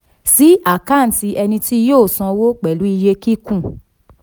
sí àkáǹtì ẹni tí yóò sanwó pẹ̀lú iye kíkún